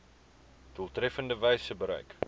doeltreffendste wyse bereik